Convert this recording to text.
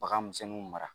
Bagan misɛnninw mara